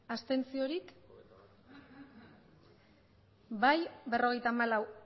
abstentzioak bai berrogeita hamalau